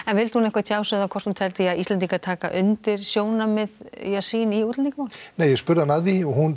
vildi hún eitthvað tjá sig um hvort hún teldi Íslendinga taka undir sjónarmið sín í útlendingamálum hún